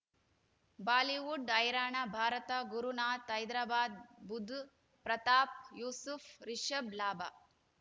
Bollywood ಹೈರಾಣ ಭಾರತ ಗುರುನಾಥ ಹೈದರಾಬಾದ್ ಬುಧ್ ಪ್ರತಾಪ್ ಯೂಸುಫ್ ರಿಷಬ್ ಲಾಭ